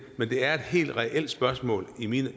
men det er et helt reelt spørgsmål i min